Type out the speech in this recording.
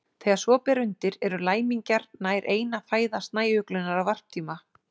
Þegar svo ber undir eru læmingjar nær eina fæða snæuglunnar á varptíma.